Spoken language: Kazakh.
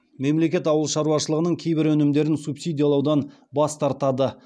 мемлекет ауыл шаруашылығының кейбір өнімдерін субсидиялаудан бас тартады